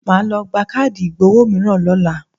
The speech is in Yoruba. Màá lọ gba káàdì ìgbowó mìíràn lọ́la.